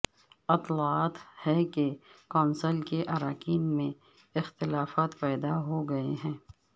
اطلاعات ہیں کہ کونسل کے اراکین میں اختلافات پیدا ہوگئے ہیں